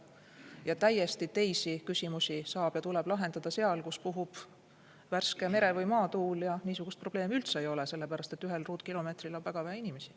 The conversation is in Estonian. Ja täiesti teisi küsimusi tuleb lahendada seal, kus puhub värske mere- või maatuul ja niisugust probleemi üldse ei ole, sellepärast et ühel ruutkilomeetril on väga vähe inimesi.